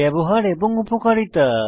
ব্যবহার এবং উপকারিতা